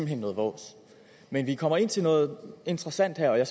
hen noget vås men vi kommer her ind til noget interessant og jeg er